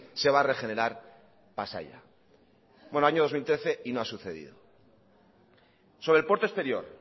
se va regenerar pasaia bueno año dos mil trece y no ha sucedido sobre el puerto exterior